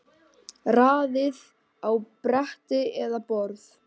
Raðið á bretti eða borð.